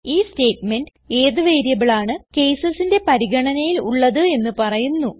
ഈ സ്റ്റേറ്റ്മെന്റ് ഏത് വേരിയബിളാണ് casesന്റെ പരിഗണനയിൽ ഉള്ളത് എന്ന് പറയുന്നു